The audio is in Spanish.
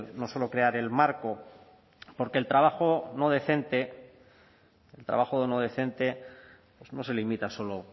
no solo crear el marco porque el trabajo no decente no se limita solo